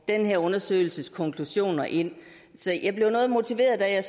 den her undersøgelses konklusioner ind så jeg blev noget motiveret da jeg